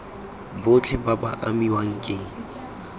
botlhe ba ba amiwang ke